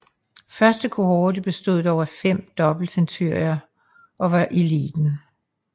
Første kohorte bestod dog af fem dobbeltcenturier og var eliten